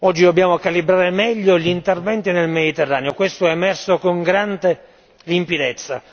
Oggi, dobbiamo calibrare al meglio gli interventi nel Mediterraneo, questo è emerso con grande limpidezza.